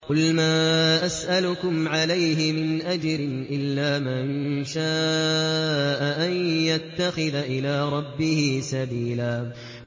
قُلْ مَا أَسْأَلُكُمْ عَلَيْهِ مِنْ أَجْرٍ إِلَّا مَن شَاءَ أَن يَتَّخِذَ إِلَىٰ رَبِّهِ سَبِيلًا